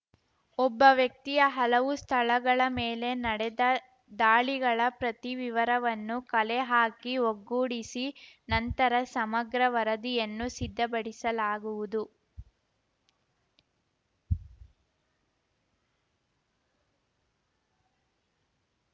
ಒಬ್ಬ ವ್ಯಕ್ತಿಯ ಹಲವು ಸ್ಥಳಗಳ ಮೇಲೆ ನಡೆದ ದಾಳಿಗಳ ಪ್ರತಿ ವಿವರವನ್ನು ಕಲೆಹಾಕಿ ಒಗ್ಗೂಡಿಸಿ ನಂತರ ಸಮಗ್ರ ವರದಿಯನ್ನು ಸಿದ್ಧಪಡಿಸಲಾಗುವುದು